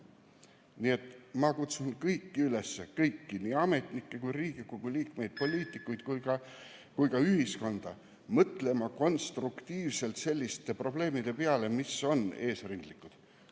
Nii et ma kutsun kõiki üles – kõiki, nii ametnikke, Riigikogu liikmeid, poliitikuid kui ka ühiskonda – mõtlema konstruktiivselt selliste probleemide peale, mis on eesrindlikud.